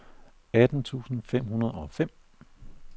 atten tusind fem hundrede og fem